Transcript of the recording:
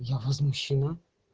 я возмущена